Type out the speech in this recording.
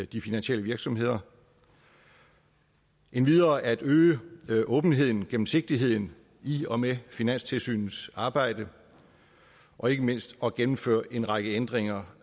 de finansielle virksomheder endvidere er målet at øge åbenheden gennemsigtigheden i og med finanstilsynets arbejde og ikke mindst at gennemføre en række ændringer